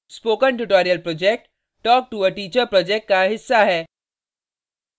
spoken tutorial project talk to a teacher project का हिस्सा है